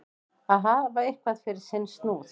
Að hafa eitthvað fyrir sinn snúð